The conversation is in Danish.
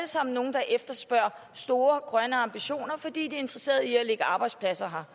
sammen nogle der efterspørger store grønne ambitioner fordi de er interesseret i at lægge arbejdspladser her